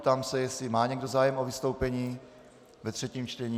Ptám se, jestli má někdo zájem o vystoupení ve třetím čtení.